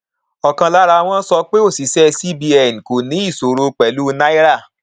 ọkan lara wọn sọ pé òṣìṣẹ cbn kò ní ìṣòro pẹlú náírà